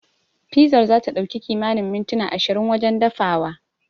Fizar zata ɗauki kimanin mintuna ashirin wajen dafawa.